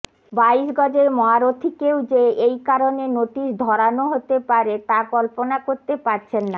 বাইশ গজের মহারথীকেও যে এই কারণে নোটিস ধরানো হতে পারে তা কল্পনা করতে পারছেন না